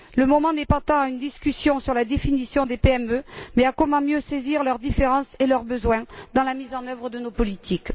Le moment n'est pas tant à mener une discussion sur la définition des PME, mais à déterminer comment mieux saisir leurs différences et leurs besoins dans la mise en œuvre de nos politiques.